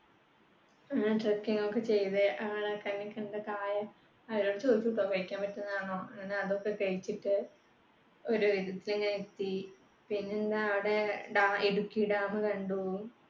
trekking ഒക്കെ ചെയ്‌ത്‌ ആഹ് കണ്ണിൽകണ്ട കായ അവരോട് ചോദിക്കുംട്ടോ കഴിക്കാൻ പറ്റുന്നതാണോന്ന് അതൊക്കെ കഴിച്ചിട്ട് ഒരുവിധത്തിൽ ഞാൻ എത്തി. പിന്നെയെന്താ അവിടെ ഇടുക്കി dam കണ്ടു